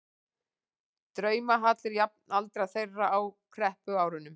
draumahallir jafnaldra þeirra á kreppuárunum.